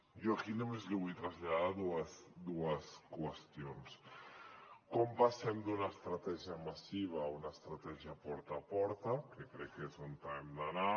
jo aquí només li vull traslladar dues qüestions com passem d’una estratègia massiva a una estratègia porta a porta que crec que és on hem d’anar